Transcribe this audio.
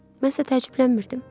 Mən isə təəccüblənmirdim.